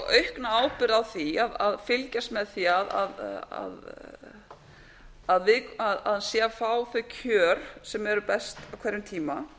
aukna ábyrgð á því að fylgjast með því að hann sé að fá þau kjör sem eru best á hverjum tíma